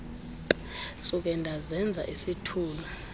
suke ndazenza isithulu